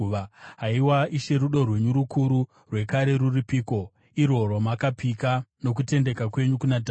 Haiwa Ishe, rudo rwenyu rukuru rwekare rwuripiko, irwo rwamakapika nokutendeka kwenyu kuna Dhavhidhi?